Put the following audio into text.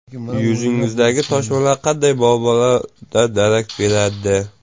Yuzingizdagi toshmalar qanday muammolardan darak beradi?.